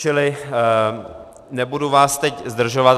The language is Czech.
Čili nebudu vás teď zdržovat.